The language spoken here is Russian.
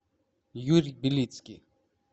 юрий белицкий